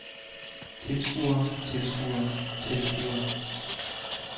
tilskuere tilskuere tilskuere